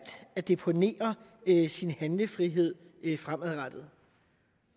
at deponere sin handlefrihed fremadrettet